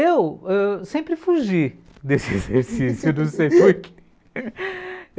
Eu ãh sempre fugi desse exercício.